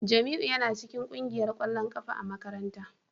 Jamiu yana cikin kungiyar kwallon kafa ta makaranta